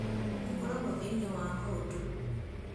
Makoragwo thĩiniĩ wa mũndũ